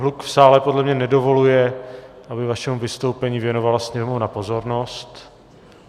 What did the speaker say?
Hluk v sále podle mě nedovoluje, aby vašemu vystoupení věnovala sněmovna pozornost.